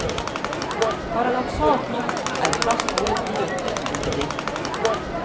Paradoksalt nok er plast hovedproduktet til bedriften.